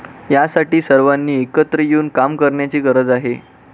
यासाठी सर्वांनी एकत्र येऊन काम करण्याची गरज आहे.